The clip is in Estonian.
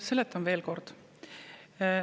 Seletan veel kord.